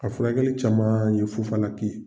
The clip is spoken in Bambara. A furakɛli caman ye fufala ki ye.